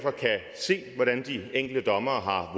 se hvad de enkelte dommere